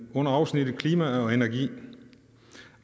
under afsnittet om klima og energi